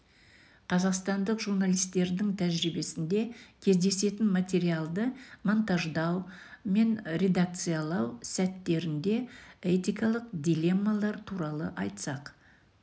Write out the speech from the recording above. қазақстандық журналистердің тәжірибесінде кездесетін материалды монтаждау мен редакциялау сәттерінде этакалық дилеммалар туралы айтсақ